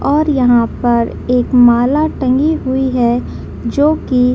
और यहाँ पर एक माला टंगी हुई है जो की --